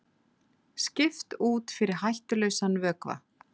Skipt út fyrir hættulausan vökva